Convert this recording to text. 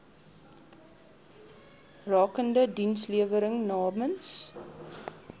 rakende dienslewering namens